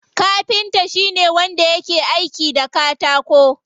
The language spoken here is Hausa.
Kafinta shine wanda yake aiki da katako.